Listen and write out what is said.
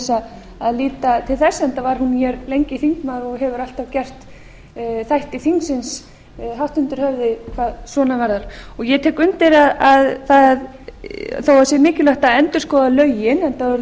var hún mjög lengi þingmaður og hefur alltaf gert þáttum þingsins hátt undir höfði hvað svona varðar ég tek undir það þó það sé mikilvægt að endurskoða lögin enda voru þau orðin tuttugu og fimm ára